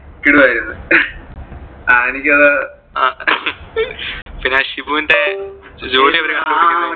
കിടുവായിരുന്നു. ആ എനിക്ക് അത് അഹ് ആ ഷിബുന്റെ ജോലി ആ കുലുക്കി അടിക്കാൻ പോകുന്നതിന്റെ